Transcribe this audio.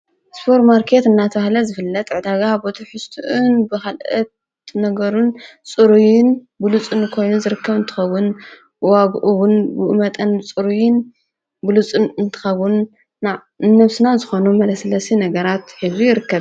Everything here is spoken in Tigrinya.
ስፖር ማርከት እናተህለ ዝፍለጥ ዕዳጋ ቦት ሑስትዑን ብኸልአት ነገሩን ጽሩዩን ብሉፁን ኮይኑ ዘርከም ንትኸዉን ዋግኡውን ብእመጠን ጽርይን ብሉጽም እንትኸዉን ና እነፍስናት ዝኾኖ መለስለሲ ነገራት ሕዙ ይርከብ ::